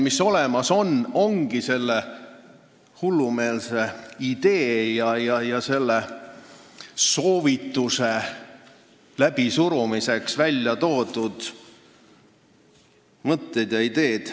Ainukesed olemasolevad argumendid ongi selle hullumeelse idee ja soovituse läbisurumiseks välja toodud mõtted.